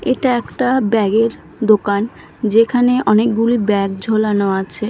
এটা একটা ব্যাগ -এর দোকান যেখানে অনেকগুলি ব্যাগ ঝোলানো আছে।